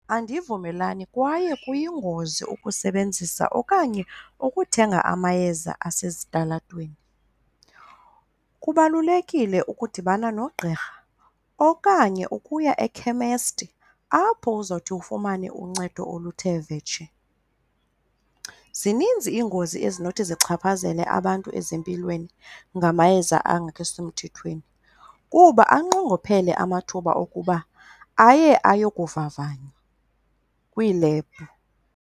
Andivumelani kwaye kuyingozi ukusebenzisa okanye ukuthenga amayeza asezitalatweni. Kubalulekile ukudibana nogqirha okanye ukuya ekhemesti apho uzawuthi ufumane uncedo oluthe vetshe. Zininzi iingozi ezinothi zichaphazele abantu ezimpilweni ngamayeza angekho semthethweni, kuba anqongophele amathuba okuba aye ayokuvavanywa kwiilebhu.